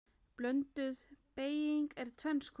Blönduð beyging er tvenns konar